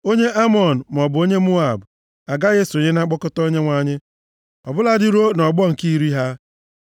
Onye Amọn, maọbụ onye Moab, agaghị esonye na mkpọkọta Onyenwe anyị, ọ bụladị ruo nʼọgbọ nke iri ha.